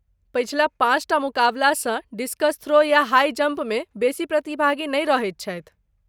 पछिला पाँच टा मुकाबलासँ डिस्कस थ्रो या हाई जंपमे बेसी प्रतिभागी नहि रहथि छथि।